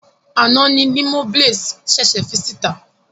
Àná ni Limoblaze ṣèṣè fi síta.